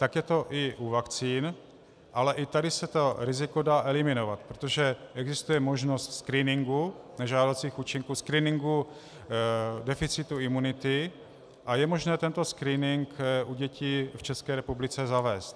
Tak je to i u vakcín, ale i tady se to riziko dá eliminovat, protože existuje možnost screeningu nežádoucích účinků, screeningu deficitu imunity a je možné tento screening u dětí v České republice zavést.